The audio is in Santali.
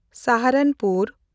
ᱥᱟᱦᱟᱨᱟᱱᱯᱩᱨ